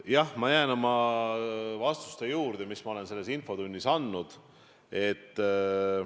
Jah, ma jään oma vastuste juurde, mis ma olen selles infotunnis andnud.